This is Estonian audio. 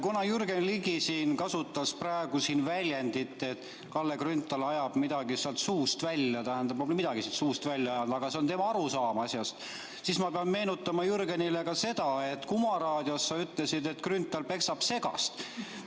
Kuna Jürgen Ligi kasutas praegu siin väljendit, et Kalle Grünthal ajab midagi seal suust välja – tähendab, ma pole küll midagi suust välja ajanud, aga see on tema arusaam asjast –, siis ma pean meenutama Jürgenile ka seda, et Kuma raadios sa ütlesid, et Grünthal peksab segast.